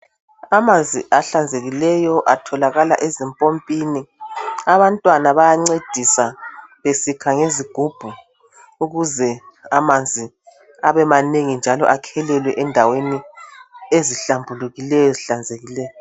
Amanzi ahlanzekileyo atholakala ezimpompini abantwana bayancedisa besikha ngezigubhu ukuze amanzi abemanengi njalo akhelelwe endaweni ezihlambulukileyo ezihlanzekileyo.